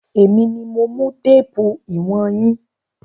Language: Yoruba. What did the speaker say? Èmi mi mo mú téèpù ìwọ̀n yín.